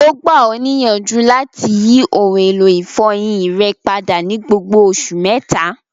O gba ọ niyanju lati yi oun elo ifọyin rẹ pada ni gbogbo oṣu mẹta.